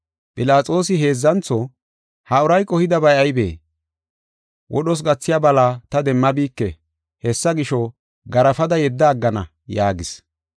Philaxoosi heedzantho, “Ha uray qohidabay aybee? Wodhos gathiya bala ta demmabike. Hessa gisho, garaafada yedda aggana” yaagis.